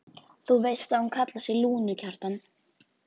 Þú veist að hún kallar sig Lúnu, Kjartan.